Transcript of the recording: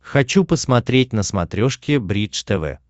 хочу посмотреть на смотрешке бридж тв